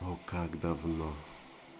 как давно